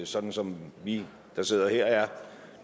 sådan som vi der sidder her er